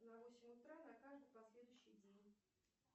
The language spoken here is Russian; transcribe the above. на восемь утра на каждый последующий день